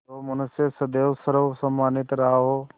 जो मनुष्य सदैव सर्वसम्मानित रहा हो